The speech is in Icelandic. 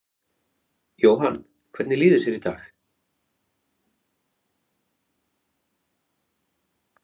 Jóhann: Hvernig líður þér í dag?